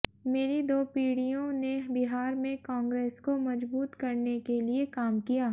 मेरी दो पीढ़ियों ने बिहार में कांग्रेस को मजबूत करने के लिए काम किया